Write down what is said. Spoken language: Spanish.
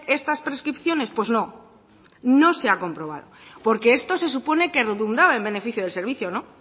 estas prescripciones pues no no se ha comprobado porque esto se supone que redundaba en beneficio del servicio no